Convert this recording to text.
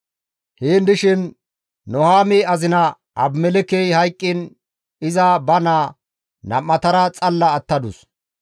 Heen dishin Nuhaami azina Abimelekkey hayqqiin iza ba naa nam7atara xalla attadus.